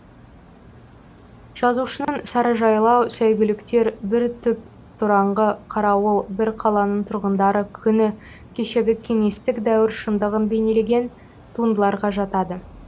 жазушының сарыжайлау сәйгүліктер бір түп тораңғы қарауыл бір қаланың тұрғындары күні кешегі кеңестік дәуір шындығын бейнелеген туындыларға жатады